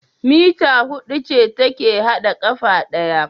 Meter hudu ce take hada kafa daya